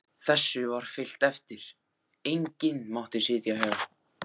Þessu var fylgt eftir, enginn mátti sitja hjá.